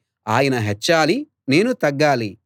ఆయన హెచ్చాలి నేను తగ్గాలి